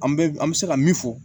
An bɛ an bɛ se ka min fɔ